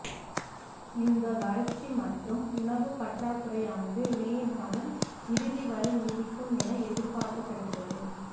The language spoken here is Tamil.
இந்த வறட்சி மற்றும் உணவு பற்றாக்குறையானது மே மாதம் இறுதி வரை நீடிக்கும் என எதிர்பார்க்கப்படுகிறது